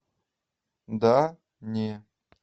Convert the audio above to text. да не